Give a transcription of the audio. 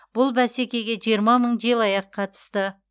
бұл бәсекеге жиырма мың желаяқ қатысты